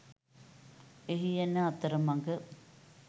එහි එන අතරමග